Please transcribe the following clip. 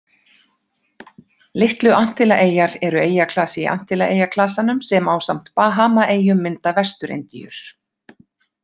Litlu-Antillaeyjar eru eyjaklasi í Antillaeyjaklasanum sem, ásamt Bahamaeyjum, mynda Vestur-Indíur.